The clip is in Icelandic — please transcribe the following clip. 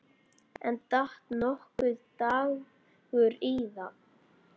En datt nokkuð Dagur íða?